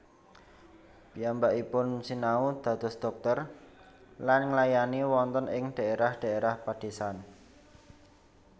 Piyambakipun sinau dados dhokter lan nglayani wonten ing dhaérah dhaérah padésan